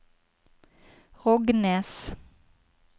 Rognes